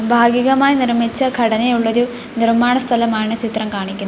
ഭാഗികമായി നിർമിച്ച ഘടനയുള്ളൊരു നിർമാണ സ്ഥലമാണ് ചിത്രം കാണിക്കുന്നത്.